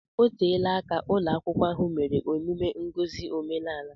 Oteela aka ụlọ akwụkwọ ahụ mere emume ngosi omenaala